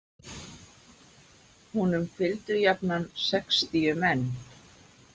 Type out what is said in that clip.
Honum fylgdu jafnan sextíu menn.